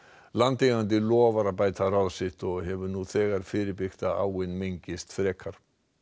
landeigandi lofar að bæta ráð sitt og hefur nú þegar fyrirbyggt að áin mengist frekar